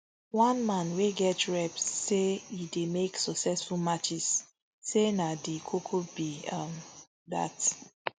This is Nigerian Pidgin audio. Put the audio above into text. one man wey get rep say e dey make successful matches say na di koko be um dat